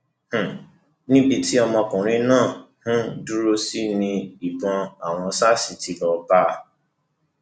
um níbi tí ọmọkùnrin náà um dùrọsí ní ní ìbò àwọn sars tí lọọ bá a